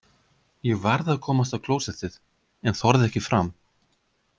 Ég varð að komast á klósettið en þorði ekki fram.